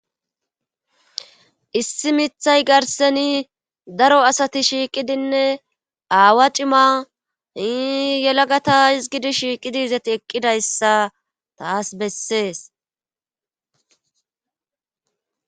Issi mithay garseni daro asati shiiqidinne aawa cima hiyelagata izgidi shiiqidi izati eqqidayssa taas bessees.